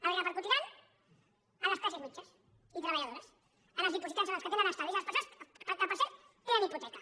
el repercutiran a les classes mitjanes i treballadores als dipositants als que tenen estalvis a les persones que per cert tenen hipoteca